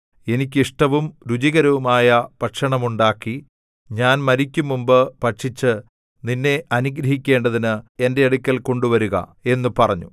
എനിക്ക് ഇഷ്ടവും രുചികരവുമായ ഭക്ഷണം ഉണ്ടാക്കി ഞാൻ മരിക്കുംമുമ്പ് ഭക്ഷിച്ച് നിന്നെ അനുഗ്രഹിക്കേണ്ടതിന് എന്റെ അടുക്കൽ കൊണ്ടുവരുക എന്നു പറഞ്ഞു